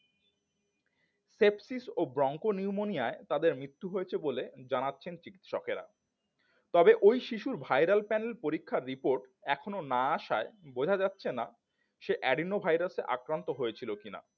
sepsis ও bronchopneumonia এ তাদের মৃত্যু হয়েছে বলে জানাচ্ছেন চিকিৎসকেরা তবে ওই শিশুর viral panel পরীক্ষার report এখনো না আসায় বোঝা যাচ্ছে না সে Adenoviruses আক্রান্ত হয়েছিল কিনা